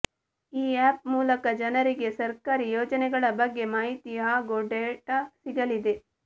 ಈ ಆ್ಯಪ್ ಮೂಲಕ ಜನರಿಗೆ ಸರ್ಕಾರಿ ಯೋಜನೆಗಳ ಬಗ್ಗೆ ಮಾಹಿತಿ ಹಾಗೂ ಡೇಟಾ ಸಿಗಲಿದೆ